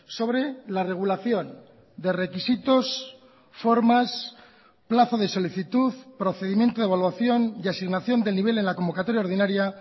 sobre la regulación de requisitos formas plazo de solicitud procedimiento de evaluación y asignación del nivel en la convocatoria ordinaria